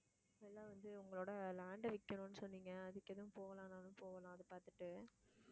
முதல்ல வந்து, உங்களோட land அ விற்கணும்னு சொன்னீங்க. அதுக்கு எதுவும் போகலாம்னாலும் போகலாம் அத பார்த்துட்டு